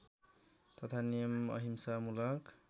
तथा नियम अहिंसामूलक